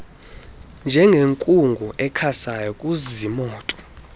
njengenkungu ekhasayo kuziimoto